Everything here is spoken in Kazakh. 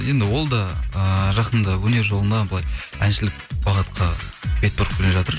енді ол да ыыы жақында өнер жолына былай әншілік бағытқа бет бұрып келе жатыр